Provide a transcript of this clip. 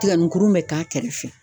Tiganinkurun bɛ k'a kɛrɛfɛ